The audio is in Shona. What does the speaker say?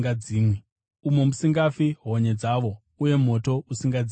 umo musingafi honye dzavo uye moto usingadzimwi.